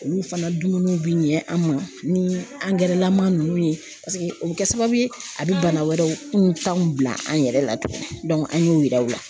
Olu fana dumuniw bɛ ɲɛ an ma ni angɛrɛlama ninnu ye o bɛ kɛ sababu ye a bɛ bana wɛrɛw kuntanw bila an yɛrɛ la tugun an y'o yir'aw la